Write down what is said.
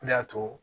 Ne y'a to